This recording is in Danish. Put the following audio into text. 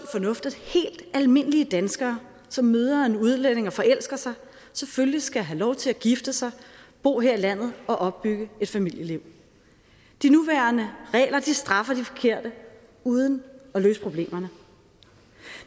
fornuft at helt almindelige danskere som møder en udlænding og forelsker sig selvfølgelig skal have lov til at gifte sig bo her i landet og opbygge et familieliv de nuværende regler straffer de forkerte uden at løse problemerne